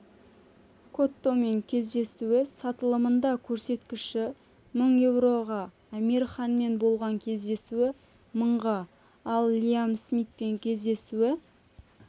коттомен кездесуі сатылымында көрсеткіші мың еуроға амир ханмен болған кездесуі мыңға ал лиам смитпен кездесуі